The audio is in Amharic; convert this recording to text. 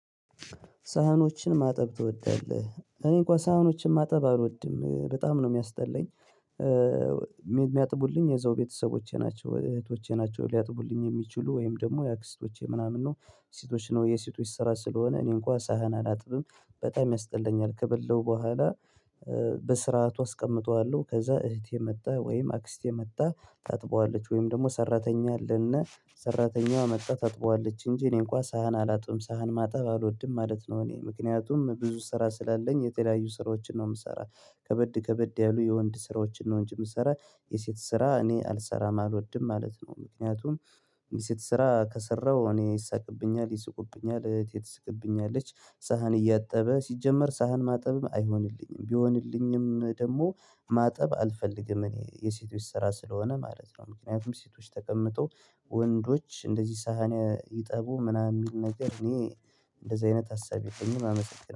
ሳህኖችን ማጠብ ትወዳለህ እኔ እንኳን ሳህኖችን ማጠብ አልወድም በጣም ነው የሚያስጠለኝ። የሚያጥቡልኝ የዛው ቤተሰቦቼ ናቸው እህቶቼ ናቸው ሊያጥቡልኝ የሚችሉ ወይም ደግሞ የአክስቶቼ ምናምን ነው። ሴቶች ነው የሴቶች ስራ ስለሆነ እኔ እንኳን ሳህን አላጥብም። በጣም ያስጠላኛል ከበላው በኋላ። በስርዓቱ አስቀምጠዋለሁ ከዛ እህቴ መጥታ ወይም አክስቴ መጥታ ታጥበዋለች ወይም ደግሞ ሰራተኛ አለና ሰራተኛዋ መጥታ ታጥበዋለች። እንጂ እኔ እንኳን ሳህን አላጥብም ሳህን ማጣብ አልወድም ማለት ነው። እኔ ምክንያቱም ብዙ ስራ ስላለኝ የተለያዩ ስራዎችን ነው የምሰራው። ከበድ ከበድ ያሉ የወንድ ስራዎችን ነው እንጂ የምሰራ። የሴት ስራ እኔ አልሰራም አልወድም ማለት ነው። ምክንያቱም የሴት ስራ ከሰራሁ እኔ ይሳቅብኛል ይስቁብኛል እህቴ ትስቅብኛለች። ሳህን እያጠበ ሲጀመር ሳህን ማጠብም አይሆንልኝም ቢሆንልኝም ደግሞ ማጠብ አልፈልግም። እኔ የሴቶች ስራ ስለሆነ ማለት ነው። ምክንያቱም ሴቶች ተቀምጠው ወንዶች እንደዚህ ሳህን ይጠቡ ምናምን የሚል ነገር እኔ። እንደዚህ አይነት ሀሳብ የለኝም አመሰግናለሁ